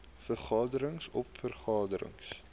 vergaderings oop vergaderings